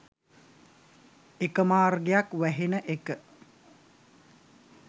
එක මාර්ගයක් වැහෙන එක.